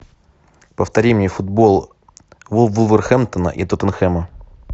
повтори мне футбол вулверхэмптона и тоттенхэма